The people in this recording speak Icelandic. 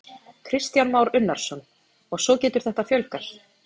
Kristján Már Unnarsson: Og svo getur þetta fjölgað?